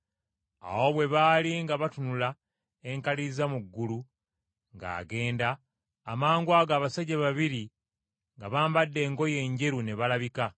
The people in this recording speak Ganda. Awo bwe baali nga batunula enkaliriza mu ggulu ng’agenda, amangwago abasajja babiri nga bambadde engoye enjeru ne balabika,